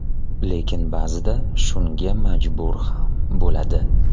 Lekin, ba’zida shunga majbur ham bo‘ladi.